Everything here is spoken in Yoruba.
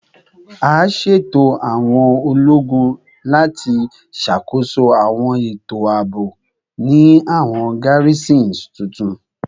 A ṣeto awọn ologun lati ṣakoso awọn eto aabo ni awọn garrisons tuntun